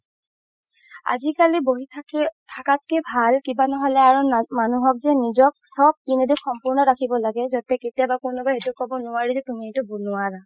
আজিকালি বহি থাকি থাকাতকে ভাল কিবা নহলে মানুহক যে নিজক চব পিনে দি সম্পুৰ্ন ৰাখিব লাগে যাতে কোনোবাই কেতিয়াবা এইটো ক'ব নোৱাৰে যে কি তুমি এইটো নোৱাৱা